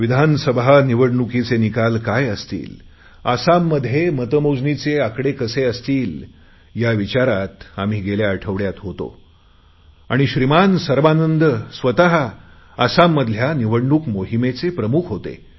विधानसभा निवडणूकीचे निकाल काय असतील आसाममध्ये मतमोजणीचे आकडे काय असतील या विचारात आम्ही गेल्या आठवडयात होतो आणि श्रीमान सर्बानंद स्वत आसाममधल्या निवडणूक मोहिमेचे प्रमुख होते